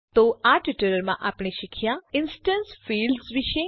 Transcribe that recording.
તો આ ટ્યુટોરીયલમાં આપણે શીખ્યા ઇન્સ્ટેન્સ ફિલ્ડ્સ વિશે